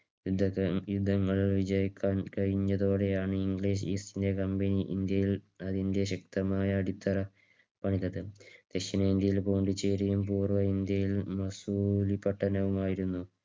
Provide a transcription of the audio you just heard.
യുദ്ധങ്ങൾ വിജയിക്കാൻ കഴിഞ്ഞതോടെയാണ് English East India Company ഇന്ത്യയിൽ അതിന്റെ ശക്തമായ അടിത്തറ പണിതത്. ദക്ഷിണ ഇന്ത്യയിലും പോണ്ടിച്ചേരിയിലും പൂർവ്വ ഇന്ത്യയിലും മസൂരിപട്ടണം ആയിരുന്നു.